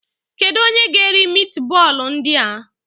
Kedu onye ga-eri mitbọọlụ ndị a?